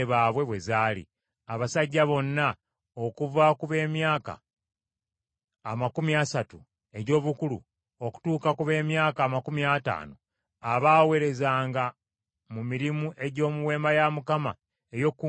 Abasajja bonna okuva ku b’emyaka amakumi asatu egy’obukulu okutuuka ku b’emyaka amakumi ataano abaaweerezanga mu mirimu egy’omu Weema ey’Okukuŋŋaanirangamu,